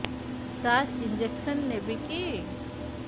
ସାର injection ନେବିକି